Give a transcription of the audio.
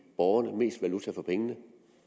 borgerne mest valuta for pengene